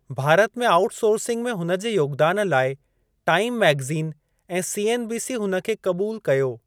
भारत में आउटसोर्सिंग में हुन जे योगदान लाइ टाइम मैग़ज़िन ऐं सीएनबीसी हुन खे क़बूल कयो।